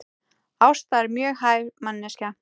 Ásta er mjög hæf manneskja